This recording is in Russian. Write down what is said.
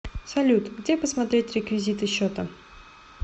салют где посмотреть реквизиты счета